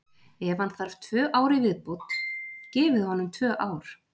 Ef hann þarf tvö ár í viðbót, gefið honum tvö ár.